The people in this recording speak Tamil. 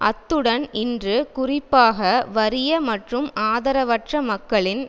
அத்துடன் இன்னும் குறிப்பாக வறிய மற்றும் ஆதரவற்ற மக்களின்